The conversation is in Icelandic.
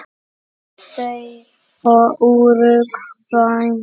Þau og Úrúgvæ.